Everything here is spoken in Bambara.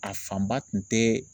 A fanba tun tɛ.